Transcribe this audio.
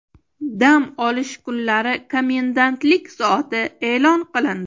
Dam olish kunlari komendantlik soati e’lon qilindi.